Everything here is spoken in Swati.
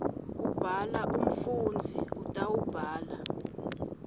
kubhala umfundzi utawubhala